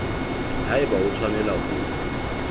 ha eba o tshwanela ho